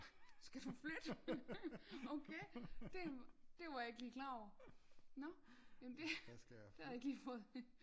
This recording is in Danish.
Skal du flytte okay det det var jeg ikke lige klar over nå jamen det det har jeg ikke lige fået